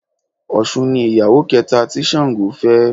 Òsun ni ìyàwó kẹta tí Sàngó fẹ́